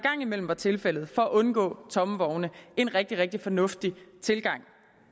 imellem var tilfældet for at undgå tomme vogne en rigtig rigtig fornuftig tilgang